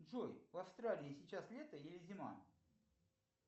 джой в австралии сейчас лето или зима